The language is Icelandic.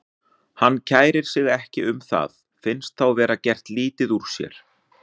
Hann kærir sig ekki um það, finnst þá vera gert lítið úr sér.